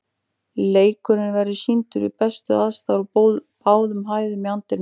Leikurinn verður sýndur við bestu aðstæður á báðum hæðum í anddyrinu.